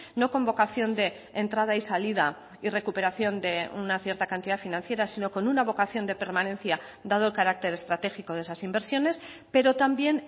no con vocación de entrada y salida y recuperación de una cierta cantidad financiera sino con una vocación de permanencia dado el carácter estratégico de esas inversiones pero también